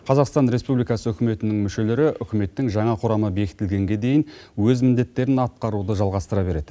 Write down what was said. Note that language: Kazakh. қазақстан республикасы үкіметінің мүшелері үкіметтің жаңа құрамы бекітілгенге дейін өз міндеттерін атқаруды жалғастыра береді